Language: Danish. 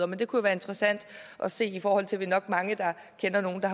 men det kunne være interessant at se i forhold til at vi nok er mange der kender nogle der